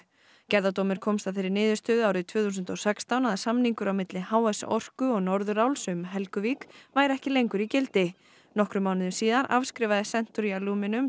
gerðardómur komst að þeirri niðurstöðu árið tvö þúsund og sextán að samningur á milli h s Orku og Norðuráls um Helguvík væri ekki lengur í gildi nokkrum mánuðum síðar afskrifaði Century